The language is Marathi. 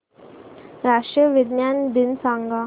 राष्ट्रीय विज्ञान दिन सांगा